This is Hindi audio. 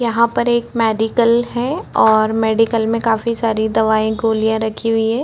यहाँ पर एक मेडिकल है और मेडिकल में काफी सारी दवाई गोली रखी हुई है।